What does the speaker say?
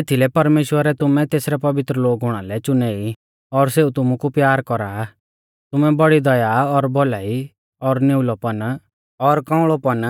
एथीलै परमेश्‍वरै तुमै तेसरै पवित्र लोग हुणा लै च़ुनै ई और सेऊ तुमु कु प्यार कौरा आ तुमै बौड़ी दया और भौलाई और निउल़ौपन और कौउंल़ौपन